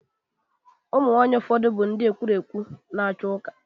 Ụmụ nwaanyị ụfọdụ bụkwa ndị ekwurekwu na okwu na ụka.